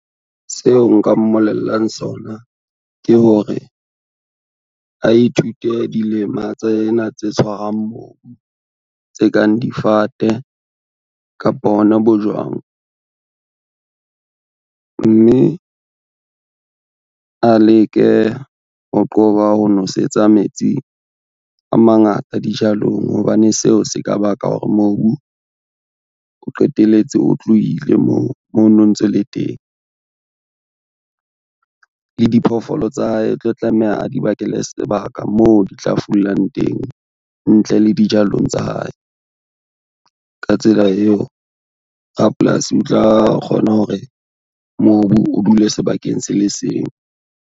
Seo nka mmolellang sona ke hore, a ithute dilema tsena tse tshwarwang mobu tse kang difate kapa hona bojwang. Mme a leke ho qoba ho nosetsa metsi a mangata dijalong hobane seo se ka baka hore mobu o qetelletse o tlohile moo mo no ntse o le teng. Le diphoofolo tsa hae o tlo tlameha a di bakele sebaka moo di tla fulang teng ntle le dijalong tsa hae. Ka tsela eo, rapolasi o tla kgona hore mobu o dule sebakeng se le seng.